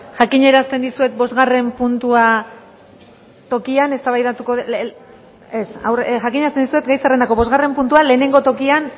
jakinarazten dizuet gai zerrendako bosgarren puntua lehengo tokian